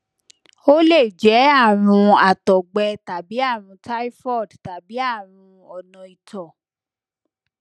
ó lè jẹ àrùn àtọgbẹ tàbí àrùn typhoid tàbí àrùn ona ito